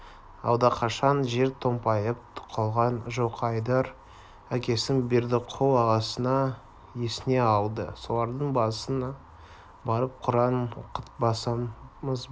алдақашан жер томпайтып қалған жылқыайдар әкесін бердіқұл ағасын есіне алды солардың басына барып құран оқытқызбасам ба